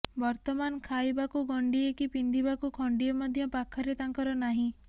ବର୍ତ୍ତମାନ ଖାଇବାକୁ ଗଣ୍ତିଏ କି ବିନ୍ଧିବାକୁ ଖଣ୍ତିଏ ମଧ୍ୟ ପାଖରେ ତାଙ୍କର ନାହିଁ